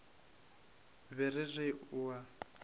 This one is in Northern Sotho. be ke re o a